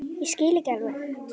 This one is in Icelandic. Ég skil ekki alveg